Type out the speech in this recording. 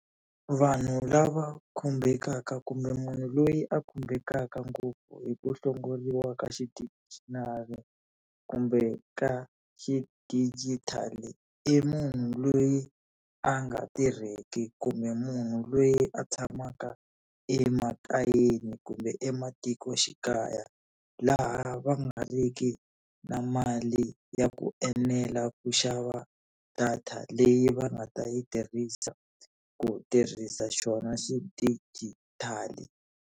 Vanhu lava khumbekaka kumbe munhu loyi a khumbekaka ngopfu hi ku hlongoriwa ka kumbe ka xidigitali i munhu loyi a nga tirheki kumbe munhu loyi a tshamaka emakayeni kumbe ematikoxikaya, laha va nga ri ki na mali ya ku enela ku xava data leyi va nga ta yi tirhisa ku tirhisa xona xidigitali.